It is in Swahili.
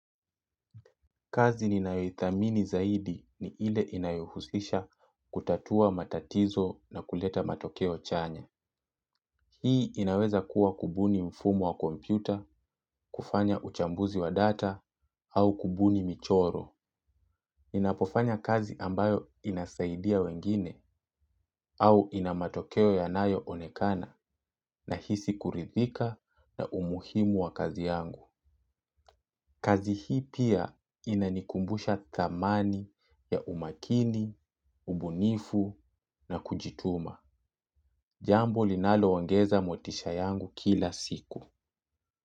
Kazi ninayoithamini zaidi ni ile inayohusisha kutatua matatizo na kuleta matokeo chanya. Hii inaweza kuwa kubuni mfumo wa kompyuta, kufanya uchambuzi wa data au kubuni michoro. Inapofanya kazi ambayo inasaidia wengine au ina matokeo yanayo onekana nahisi kuridhika na umuhimu wa kazi yangu. Kazi hii pia inanikumbusha thamani ya umakini, ubunifu na kujituma. Jambo linaloongeza motisha yangu kila siku.